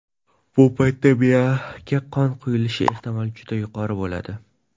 Bu paytda miyaga qon quyilishi ehtimoli juda yuqori bo‘ladi.